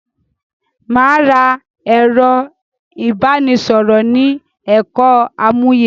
Mà á ra ẹ̀rọ ìbánisọ̀rọ̀ ni ẹka àmúyẹ.